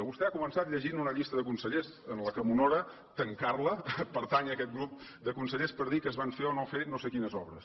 vostè ha començat llegint una llista de consellers que m’honora tancar la pertànyer a aquest grup de consellers per dir que es van fer o no fer no sé quines obres